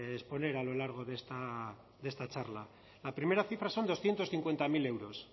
exponer a lo largo de esta charla la primera cifra son doscientos cincuenta mil euros